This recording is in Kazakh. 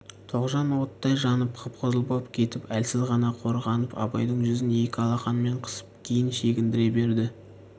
тоғжан оттай жанып қып-қызыл боп кетіп әлсіз ғана қорғанып абайдың жүзін екі алақанымен қысып кейін шегіндіре берді